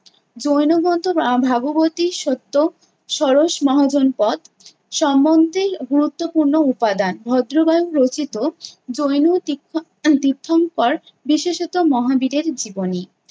জৈন গ্রন্থ আহ ভাগবতী সত্য ষোড়শ মহাজনপথ সম্বন্ধে গুরুত্বপূর্ণ উপাদান। ভদ্রবাহু রচিত জৈন তীর্থ~ তীর্থঙ্কর বিশেষত মহাবীরের জীবনী।